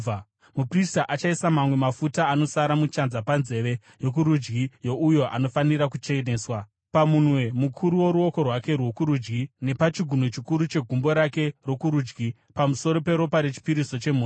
Muprista achaisa mamwe mafuta anosara muchanza panzeve yokurudyi youyo anofanira kucheneswa, pamunwe mukuru woruoko rwake rwokurudyi nepachigunwe chikuru chegumbo rake rokurudyi pamusoro peropa rechipiriso chemhosva.